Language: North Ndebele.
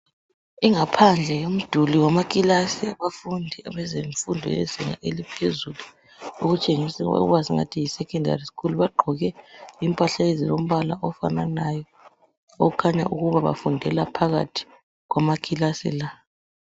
Ingaphandle yemiduli wamakilasi abafundi bezemfundo yezinga eliphezulu okutshengisawa ukubathi yi sekhendari skulu baqgoke impahla ezilombala ofananayo okhanya ukuba bafundela phakathi kwamakilasi la